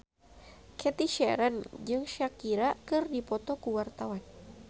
Cathy Sharon jeung Shakira keur dipoto ku wartawan